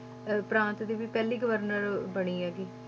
ਅਹ ਪ੍ਰਾਂਤ ਦੀ ਵੀ ਪਹਿਲੀ ਗਵਰਨਰ ਬਣੀ ਹੈਗੀ,